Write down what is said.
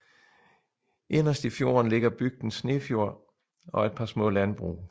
Inderst i fjorden ligger bygden Snefjord og et par små landbrug